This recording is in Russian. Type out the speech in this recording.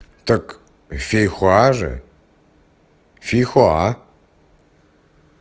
так фейхоа же фейхоа